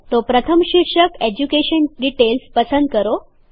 તો પ્રથમ શીર્ષક એજ્યુકેશન ડીટેઈલ્સ પસંદ કરો